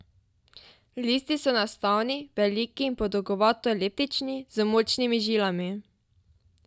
Listi so enostavni, veliki in podolgovato eliptični, z močnimi žilami.